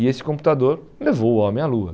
E esse computador levou o homem à lua.